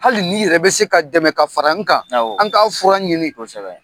Hali n'i yɛrɛ bɛ se ka dɛmɛ ka fara n kan awɔ an k'a fura ɲini kosɛbɛ